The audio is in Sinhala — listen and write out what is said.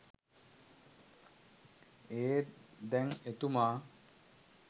ඒත් දැන් එතුමා